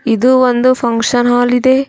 ಇದು ಒಂದು function hall ಇದೆ.